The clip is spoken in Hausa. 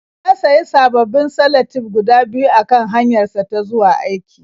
Ya sayi sababbin salatif guda biyu a kan hanyarsa ta zuwa aiki.